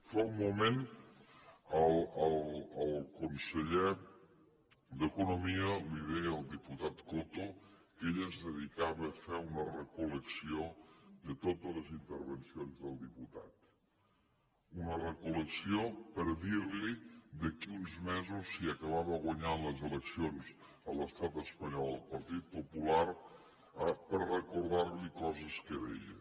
fa un moment el conseller d’economia li deia al diputat coto que ell es dedicava a fer una recol·lecció de totes les intervencions del diputat una recol·lecció per dir li d’aquí a uns mesos si acabava guanyant les eleccions a l’estat espanyol el partit popular per recordar li coses que deia